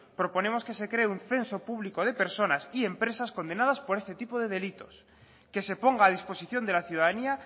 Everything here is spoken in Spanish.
proponemos que se cree un censo público de personas y empresas condenadas por este tipo de delitos que se ponga a disposición de la ciudadanía